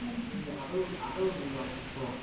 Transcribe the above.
এটা কি আদৌআদৌ যথেষ্ট?